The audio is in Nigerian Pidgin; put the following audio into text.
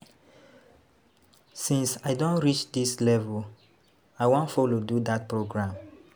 Since I don reach dis level I wan follow do dat program.